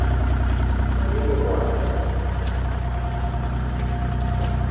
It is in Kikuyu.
Mami nĩ mwarimũ.